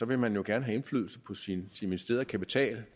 vil man jo gerne have indflydelse på sin investerede kapital